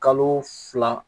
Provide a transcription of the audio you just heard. Kalo fila